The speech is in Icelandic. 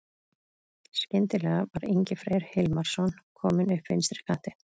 Skyndilega var Ingi Freyr Hilmarsson kominn upp vinstri kantinn.